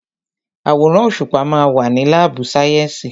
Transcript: Àwòrán òṣùpá ma wà ní lábù sàyẹ́sì.